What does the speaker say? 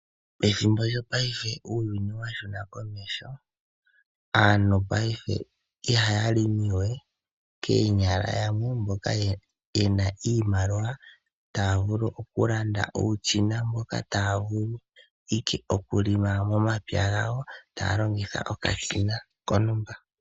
Ethimbo lyopaife uuyuni owa huma komeho ,aantu paife ihaya longo we koonyala mboka yena iimaliwa taa vulu owala okulima momapya gawo taa longitha okashina kontumba.